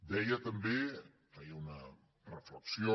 deia també feia una reflexió